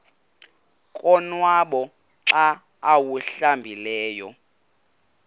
konwaba xa awuhlambileyo